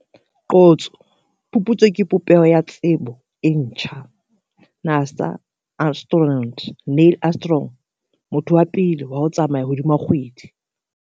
Qotso - Phuputso ke popeho ya tsebo e ntjha - NASA astronaut, Neil Armstrong, motho wa pele wa ho tsamaya hodima kgwedi.